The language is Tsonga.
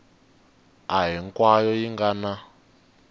a hinkwayo yi nga na